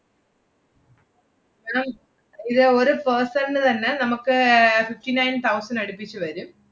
hello ഇത് ഒരു person ന് തന്നെ നമ്മക്ക് ഏർ fifty nine thousand അടുപ്പിച്ച് വരും.